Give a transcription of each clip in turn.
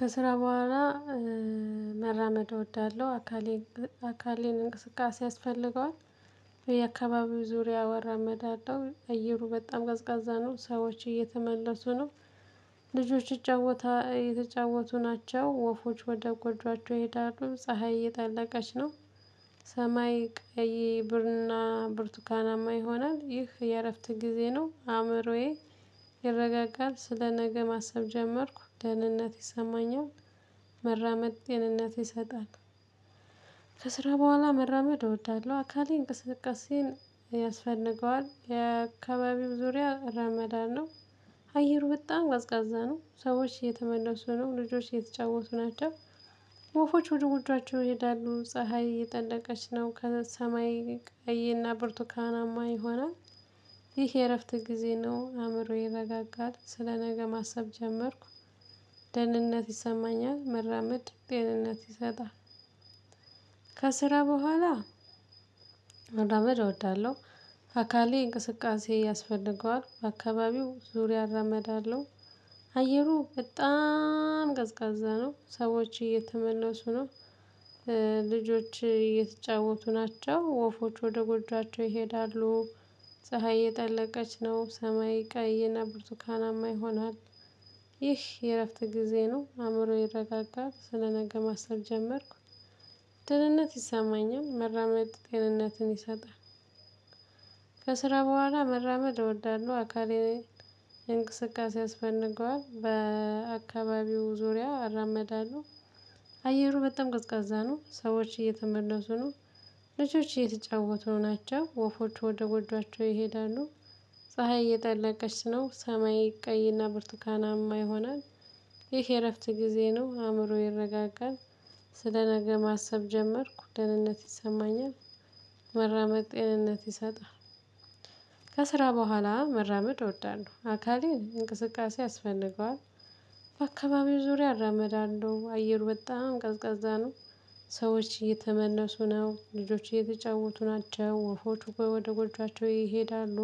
ከስራ በኋላ መራመድ እወዳለሁ። አካሌን አካሌን እንቅስቃሴ ያስፈልገዋል። የአካባቢው ዙሪያ ወራመዳለሁ አየሩ በጣም ገዝጋዛ ነው ሰዎች እየተመለሱ ነው። ልጆች ይጫወታ እየተጫወቱ ናቸው ወፎች ወደ ጎጆአቸው ይሄዳሉ ፀሀይ እየታለቀች ነው ሰማይ ቀይ ብርና ብርቱካናማ ይሆናል ይህ የእረፍት ጊዜ ነው። አእምሮዬ ይረጋጋል ስለ ነገ ማሰብ ጀመርኩ ደህንነት ይሰማኛል። መራመድ ጤንነት ይሰጣል። ከስራ በኋላ መራመድ እወዳለሁ። አካሌ እንቅስቃሴን ያስፈንገዋል የአካባቢው ዙሪያ ረመዳን ነው። አየሩ በጣም ቀዝቃዛ ነው ሰዎች እየተመለሱ ነው ልጆች እየተጫወቱ ናቸው። ወፎች ወደ ጎጇቸው ይሄዳሉ ፀሀይ እየጠለቀች ነው ከሰማይ ቀይ እና ብርቱካናማ ይሆናል። ይህ የእረፍት ጊዜ ነው አእምሮዬ ይረጋጋል ስለ ነገ ማሰብ ጀመርኩ። ደህንነት ይሰማኛል መራመድ ደህንነት ይሰጣል። ከስራ በኋላ መራመድ እወዳለሁ። አካሌ እንቅስቃሴ ያስፈልገዋል በአካባቢው ዙሪያ አራመድ አየሩ በጣም ቀዝቃዛ ነው ሰዎች እየተመለሱ ነው። ልጆች እየተጫወቱ ናቸው ወፎች ወደ ጎጃቸው ይሄዳሉ ፀሀይ እየጠለቀች ነው ሰማይ ቀይና ብርቱካናማ ይሆንሃል። ይህ የእረፍት ጊዜ ነው አእምሮዬ ይረጋጋል ስለነገ ማሰብ ጀመርኩ። ድልነት ይሰማኛል መራመድ ጤንነትን ይሰጣል። ከስራ በኋላ መራመድ እወዳለሁ አካሌን እንቅስቃሴ ያስፈንገዋል በአካባቢው ዙሪያ አራመዳለሁ። አየሩ በጣም ቅዝቃዛ ነው ሰዎች እየተመለሱ ነው። ልጆች እየተጫወቱ ናቸው ወፎች ወደጎጇቸው ይሄዳሉ ፀሀይ እየጠለቀች ነው ሰማይ ቀይና ብርቱካናማ የሆነ ይህ የእረፍት ጊዜ ነው አእምሮዬ ይረጋጋል። ስለ ነገ ማሰብ ጀመርኩ ደህንነት ይሰማኛል። መራመድ ጤንነት ይሰጣል። ከስራ በኋላ መራመድ ወዳለሁ አካሌ እንቅስቃሴ ያስፈልገዋል። በአካባቢው ዙሪያ አራመዳን ነው አየር በጣም ቀዝቃዛ ነው። ሰዎች እየተመነሱ ነው ልጆች እየተጫወቱ ናቸው ወፎች ወደ ጎጆአቸው ይሄዳሉ።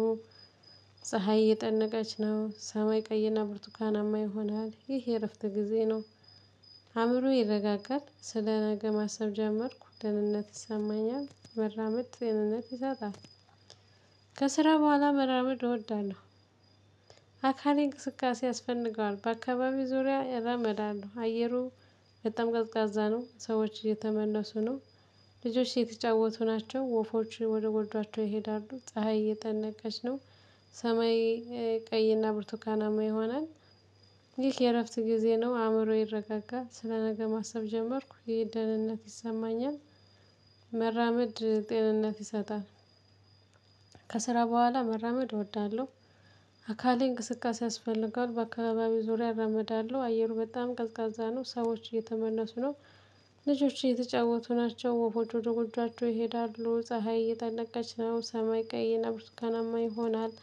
ፀሀይ እየጠነቀች ነው ሰማይ ቀይና ብርቱካናማ ይሆናል ይሄ እረፍት ጊዜ ነው። አእምሮዬ ይረጋጋል ስለ ነገ ማሰብ ጀመርኩ ደህንነት ይሰማኛል መራመድ ደህንነት ይሰጣል። ከስራ በኋላ መራመድ እወዳለሁ። አካሌ እንቅስቃሴ ያስፈንገዋል በአካባቢው ዙሪያ እረመዳን ነው አየሩ በጣም ቀዝቃዛ ነው ሰዎች እየተመለሱ ነው። ልጆች እየተጫወቱ ናቸው ወፎች ወደ ጎጇቸው ይሄዳሉ ፀሀይ እየጠነቀች ነው ሰማይ ቀይና ብርቱካናማ ይሆናል። ይህ የእረፍት ጊዜ ነው አእምሮዬ ይረጋጋል ስለነገ ማሰብ ጀመርኩ ይሄ ደህንነት ይሰማኛል። መራመድ ጤንነት ይሰጣል። ከስራ በኋላ መራመድ እወዳለሁ አካሌ እንቅስቃሴ ያስፈልጋል በአካባቢው ዙሪያ እረመዳለሁ አየሩ በጣም ቀዝቃዛ ነው ሰዎች እየተመለሱ ነው። ልጆች እየተጫወቱ ናቸው ወፎች ወደ ጎጆአቸው ይሄዳሉ ፀሀይ እየጠነቀች ነው ሰማይ ቀይና ብርቱካናማ ይሆናል።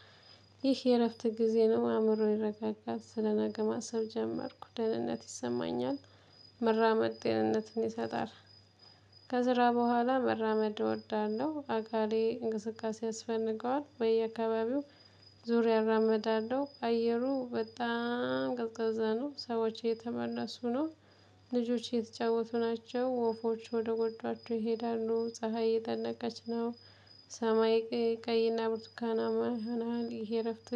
ይህ የእረፍት ጊዜ ነው አእምሮ ይረጋጋል ስለነገ ማሰብ ጀመርኩ ደህንነት ይሰማኛል። መራመድ ጤንነትን ይሰጣል። ከዝራ በኋላ መራመድ እወዳለሁ አካሌ እንቅስቃሴ ያስፈንገዋል በየአካባቢው ዙሪያ እራመዳለሁ አየሩ በጣም ቀዝቃዛ ነው ሰዎች እየተመለሱ ነው። ልጆች እየተጫወቱ ናቸው ወፎች ወደጎጇቸው ይሄዳሉ ፀሀይ እየጠነቀች ነው። ሰማይ ቀይና ብርቱካናማ ይሆናል እረፍት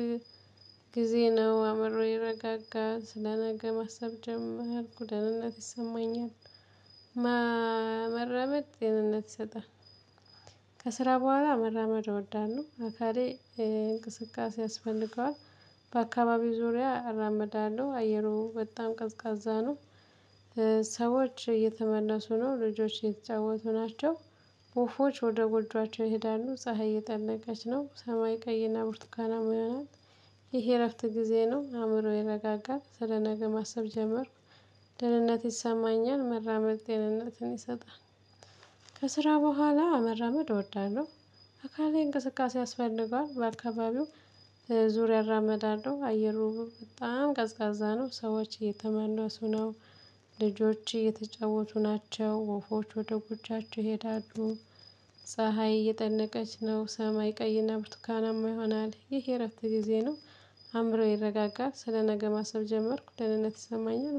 ጊዜ ነው አምሮ ይረጋጋል ስለነገ ማሰብ ጀመርኩ ደህንነት ይሰማኛል። መራመድ ጤንነት ይሰጣል። ከስራ በኋላ መራመድ እወዳለሁ አካሌ እንቅስቃሴ ያስፈልገዋል። በአካባቢው ዙሪያ እራመዳለሁ አየሩ በጣም ቀዝቃዛ ነው። ሰዎች እየተመለሱ ነው ልጆች እየተጫወቱ ናቸው። ወፎች ወደ ጎጆአቸው ይሄዳሉ ፀሀይ እየጠነቀች ነው ሰማይ ቀይና ቡርቱካናማ ይሆናል። ይሄ እረፍት ጊዜ ነው አእምሮ ይረጋጋል ስለ ነገ ማሰብ ጀመርኩ። ደህንነት ይሰማኛል መራመድ ደህንነትን ይሰጣል። ከስራ በኋላ መራመድ እወዳለሁ። አካላዊ እንቅስቃሴ ያስፈልገዋል በአልካባቢው ዙሪያ እራመዳለሁ አየሩ በጣም ቀዝቃዛ ነው ሰዎች እየተመለሱ ነው። ልጆች እየተጫወቱ ናቸው ወፎች ወደ ጉጃቸው ይሄዳሉ። ፀሀይ እየጠነቀች ነው ሰማይ ቀይና ብርቱካናማ ይሆናል ይህ የእረፍት ጊዜ ነው። አእምሮዬ ይረጋጋል ስለ ነገ ማሰብ ጀመርኩ ደህንነት ይሰማኛል